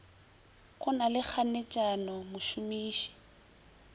go na le kganetšano mošomiši